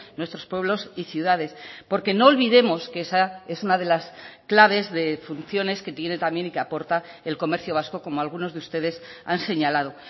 nuestros pueblos y ciudades porque no olvidemos que esa es una de las claves de funciones que tiene también y que aporta el comercio vasco como algunos de ustedes han señalado